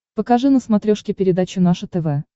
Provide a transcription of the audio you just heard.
покажи на смотрешке передачу наше тв